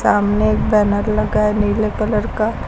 सामने एक बैनर लगा है नीले कलर का।